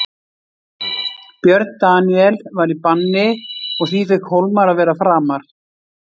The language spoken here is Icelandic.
Björn Daníel var í banni og því fékk Hólmar að vera framar.